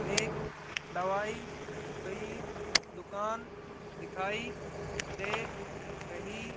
एक दवाई कई दुकान दिखाई दे रही--